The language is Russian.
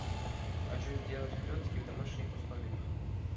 хочу сделать клецки в домашних условиях